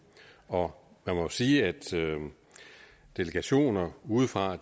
og man må sige at delegationer udefra